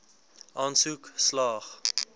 aansoek slaag